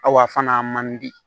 a fana man di